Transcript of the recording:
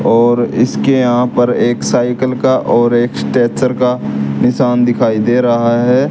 और इसके यहां पर एक साइकिल का और एक स्ट्रेचर का निशान दिखाई दे रहा है।